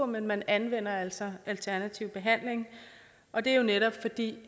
men man anvender altså alternativ behandling og det er netop fordi den